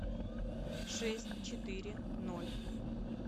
шесть четыре ноль